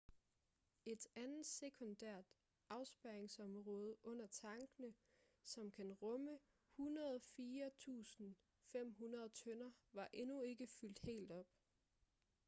et andet sekundært afspærringsområde under tankene som kan rumme 104.500 tønder var endnu ikke fyldt helt op